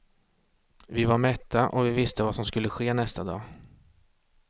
Vi var mätta och vi visste vad som skulle ske nästa dag.